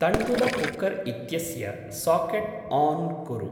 तण्डुलकुक्कर् इत्यस्य socket on कुरु।